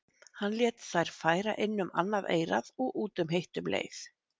Hann lét þær fara inn um annað eyrað og út um hitt um leið.